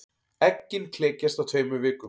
Eggin klekjast á tveimur vikum.